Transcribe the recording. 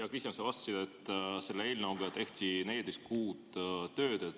Sa vastasid mu küsimustele, et selle eelnõuga tehti 14 kuud tööd.